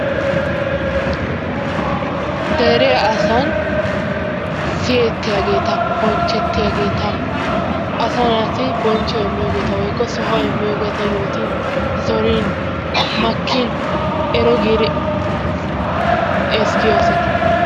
Dere asaan siyettiyaageta bonchchetiyaageta asaa naati bonchchuwaa immiyoogeta wotkko sohuwaa immiyoogeta zorin makkin ero giiri ezggiyoo asata.